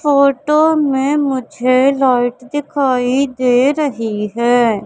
Photo में मुझे light दिखाई दे रही है।